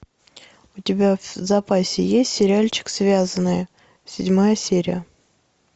у тебя в запасе есть сериальчик связанные седьмая серия